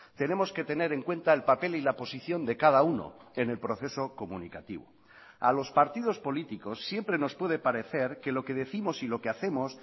tenemos que tener en cuenta el papel y la posición de cada uno en el proceso comunicativo a los partidos políticos siempre nos puede parecer que lo que décimos y lo que hacemos